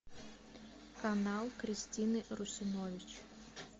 канал кристины русинович